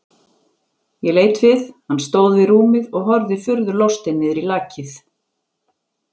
Ég leit við, hann stóð við rúmið og horfði furðu lostinn niður í lakið.